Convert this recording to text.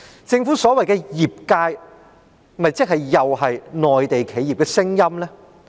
政府所謂的業界意見，是否又是內地企業的聲音呢？